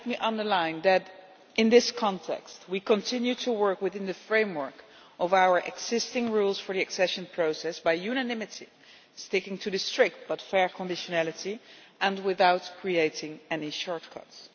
And let me underline that in this context, we continue to work within the framework of our existing rules for the accession process, by unanimity, sticking to strict but fair conditionality and without creating any shortcuts.